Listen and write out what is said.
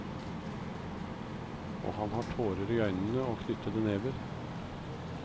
Og han har tårer i øynene og knyttede never.